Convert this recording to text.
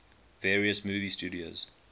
various movie studios